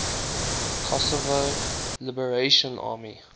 kosovo liberation army